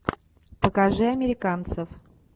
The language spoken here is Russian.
покажи американцев